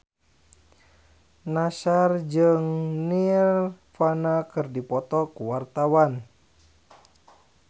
Nassar jeung Nirvana keur dipoto ku wartawan